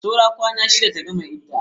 Saura kwana shida ta gama idda.